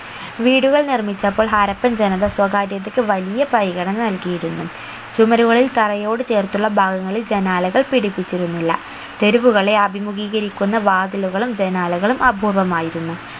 വീടുകൾ നിർമ്മിച്ചപ്പോൾ ഹാരപ്പൻ ജനത സ്വകാര്യതക്ക് വലിയ പരിഗണന നൽകിയിരുന്നു ചുമരുകളിൽ തറയോട് ചേർത്തുള്ള ഭാഗങ്ങളിൽ ജനാലകൾ പിടിപ്പിച്ചിരുന്നില്ല തെരുവുകളെ അഭിമുഖീകരിക്കുന്ന വാതിലുകളും ജനാലകളും അപൂർവമായിരുന്നു